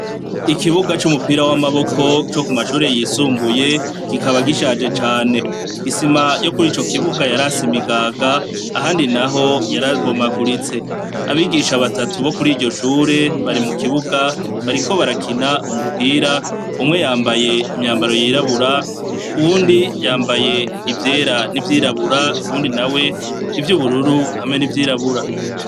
Ikibuga c'umupira w'amaboko co ku mashure yisumbuye kikaba gishaje cane, isima yokurico kibuga yarase imigaga ahandi naho yarabomaguritse, abigisha batatu bokuriryo Shure barimukibuga bariko barakina umupira umwe yambaye imyambaro yirabura uwundi yambaye ivyera n'ivyirabura ,uwundi nawe ivyubururu hamwe n'ivyirabura.